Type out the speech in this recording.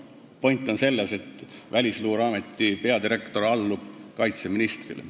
" Noh, point on selles, et Välisluureameti peadirektor allub kaitseministrile.